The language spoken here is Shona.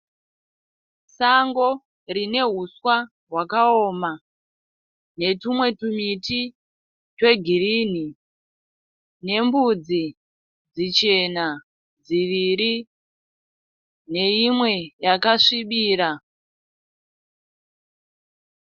Sango rine huswa hwakaoma, netumwe tumiti twegirini, nembudzi dzichena dziviri neyimwe yakasvibira.